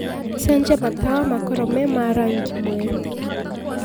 cenjĩa matawa makorwo me ma rangĩ mwerũ